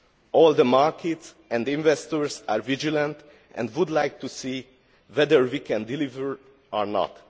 All the markets and investors are vigilant and would like to see whether we can deliver or not.